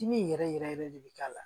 Dimi in yɛrɛ yɛrɛ yɛrɛ de bɛ k'a la